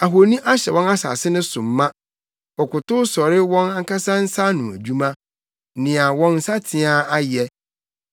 Ahoni ahyɛ wɔn asase no so ma; wɔkotow sɔre wɔn ankasa nsa ano adwuma, nea wɔn nsateaa ayɛ.